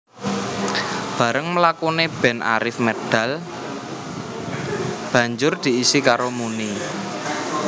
Barèng mlakune band Arif medal banjur diisi karo Muny